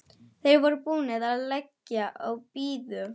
Þeir voru búnir að leggja á og biðu.